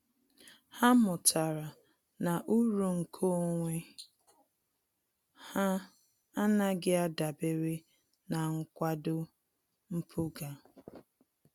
Há mụ́tàrà na uru nke onwe ha ánàghị́ ádàbèré na nkwado mpụga.